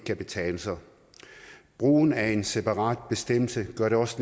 kan betale sig brugen af en separat bestemmelse gør det også